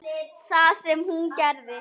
Það sem hún gerði: